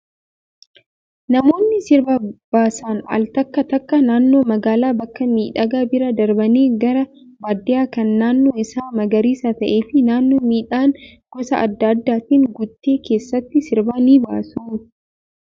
Namoonni sirba baasan al takka takka naannoo magaalaa bakka miidhagaa bira darbanii gara baadiyyaa kan naannoon isaa magariisa ta'ee fi naannoo midhaan gosa adda addaatiin guute keessatti sirba ni baasu.